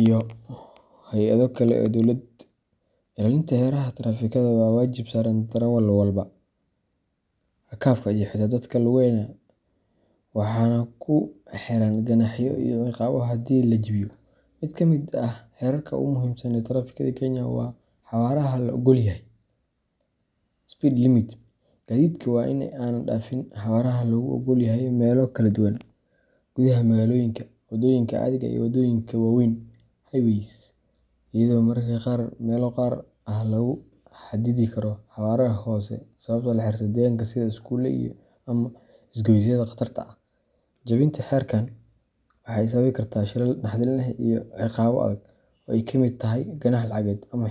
iyo hay’ado kale oo dawladeed. Ilaalinta xeerarka taraafikada waa waajib saaran darawallada, rakaabka, iyo xitaa dadka lugeeya, waxaana ku xeeran ganaaxyo iyo ciqaabo hadii la jabiyo. Mid ka mid ah xeerarka ugu muhiimsan ee taraafikada Kenya waa xawaaraha la oggol yahay speed limit. Gaadiidka waa in aanay dhaafin xawaaraha lagu oggol yahay meelo kala duwan: gudaha magaalooyinka, waddooyinka caadiga ah, iyo waddooyinka waaweyn highways, iyadoo mararka qaar meelo gaar ah lagu xadidi karo xawaare hoose sabab la xiriirta deegaanka sida iskuulo ama isgoysyada khatarta ah. Jabinta xeerkan waxa ay sababi kartaa shilal naxdin leh iyo ciqaabo adag, oo ay ka mid tahay ganaax lacageed ama.